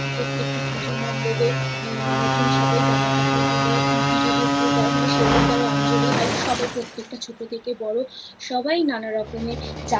আ প্রত্যেকটা পুজো মণ্ডপে নতুন সবাই জামা কাপড় পরে পুজো দেখতে যায় মানে সেই দিনকরে অঞ্জলী হয় সবাই প্রত্যেকটা ছোটো থেকে বড় সবাই নানা রকমের